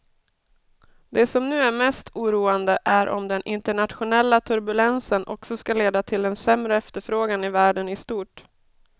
Det som nu är mest oroande är om den internationella turbulensen också ska leda till en sämre efterfrågan i världen i stort.